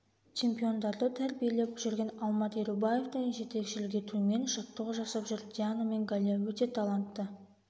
чемпиондарды тәрбиелеп жүрген алмат ерубаевтың жетекшілік етуімен жаттығу жасап жүр диана мен галия өте талантты